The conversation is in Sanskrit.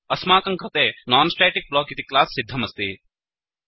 अस्माकं कृते नॉन्स्टेटिक्टेस्ट् इति क्लास् सिद्धमस्ति